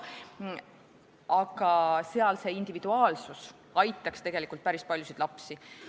Seal aga aitaks see individuaalsus tegelikult päris paljusid lapsi.